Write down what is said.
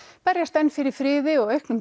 berjast enn fyrir friði og auknum